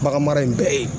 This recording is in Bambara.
Baganmara in bɛ yen